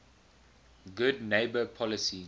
good neighbor policy